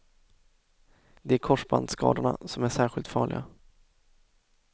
Det är korsbandsskadorna som är särskilt farliga.